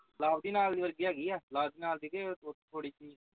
ਲਵ ਦੀ ਨਾਲ ਦੀ ਵਰਗੀ ਹੈਗੀ ਆ ਲਵ ਦੀ ਨਾਲ ਦੇ ਦੇ ਥੋੜੀ